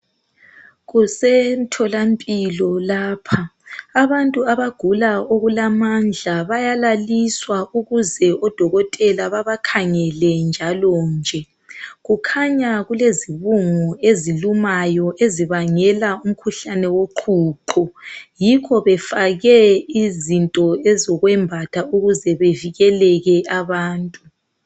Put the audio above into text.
Kusemtholampilo lapha abantu abagula okulamandla bayalaliswa ukuze odokotela babakhangele njalonje , kukhanya kulezibungu ezilumayo ezibangela imkhuhlane woqhuqho , yikho befake izinto ezokwembatha ukuze bevikeleke abantu